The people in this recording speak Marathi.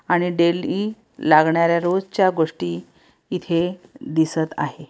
आणि डेली लागणाऱ्या रोजच्या गोष्टी इथे दिसत आहे.